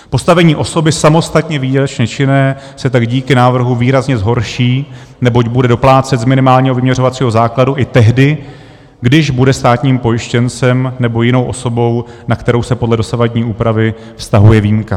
Postavení osoby samostatně výdělečně činné se tak díky návrhu výrazně zhorší, neboť bude doplácet z minimálního vyměřovacího základu i tehdy, když bude státním pojištěncem nebo jinou osobou, na kterou se podle dosavadní úpravy vztahuje výjimka.